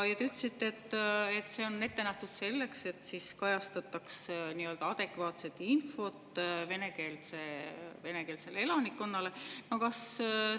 Te ütlesite, et see on ette nähtud selleks, et venekeelsele elanikkonnale adekvaatset infot.